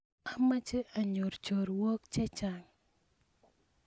amoche anyor chorwok chechang